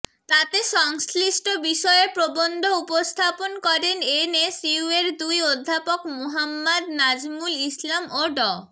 তাতে সংশ্লিষ্ট বিষয়ে প্রবন্ধ উপস্থাপন করেন এনএসইউয়ের দুই অধ্যাপক মোহাম্মাদ নাজমুল ইসলাম ও ড